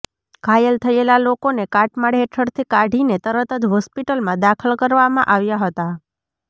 ઘાયલ થયેલા લોકોને કાટમાળ હેઠળથી કાઢીને તરત જ હોસ્પિટલમાં દાખલ કરવામાં આવ્યા હતા